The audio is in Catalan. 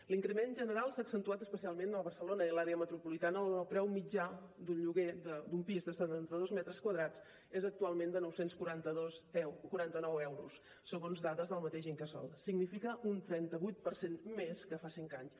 l’increment general s’ha accentuat especialment a barcelona i l’àrea metropolitana on el preu mitjà d’un lloguer d’un pis de setanta dos metres quadrats és actualment de nou cents i quaranta nou euros segons dades del mateix incasòl significa un trenta vuit per cent més que fa cinc anys